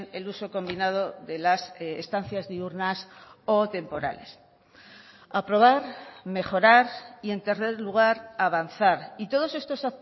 el uso combinado de las estancias diurnas o temporales aprobar mejorar y en tercer lugar avanzar y todos estos